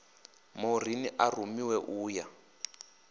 maureen a rumiwe u ya